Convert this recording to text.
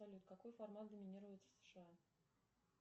салют какой формат доминирует в сша